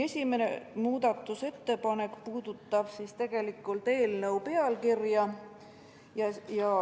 Esimene muudatusettepanek puudutab eelnõu pealkirja.